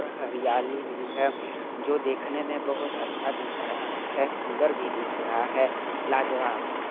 हरियाली भी है जोकी देखने मे बहोत अच्छा दिख रहा है सुंदर भी दिख रहा है लाजवाब --